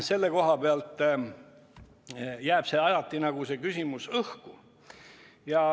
Selle koha peal jääb see küsimus alati õhku.